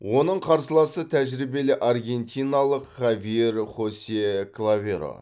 оның қарсыласы тәжірибелі аргентиналық хавьер хосе клаверо